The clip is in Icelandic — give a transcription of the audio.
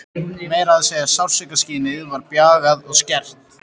Meira að segja sársaukaskynið var bjagað og skert.